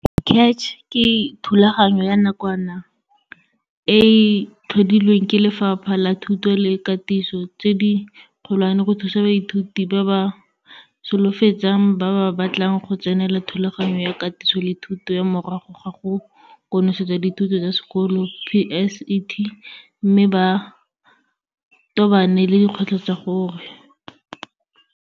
CACH ke thulaganyo ya nakwana e e tlhodilwe ke Lefapha la Thuto le Katiso tse di Kgolwane go thusa baithuti ba ba solofetsang ba ba batlang go tsenela Thulaganyo ya Katiso le Thuto ya Morago ga go Konosetsa Dithuto tsa Sekolo PSET mme ba tobane le dikgwetlho tsa gore.